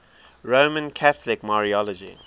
roman catholic mariology